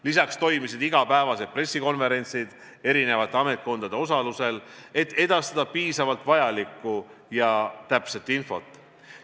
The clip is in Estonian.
Lisaks toimusid igapäevased pressikonverentsid eri ametkondade osalusel, et piisavalt edastada vajalikku ja täpset infot.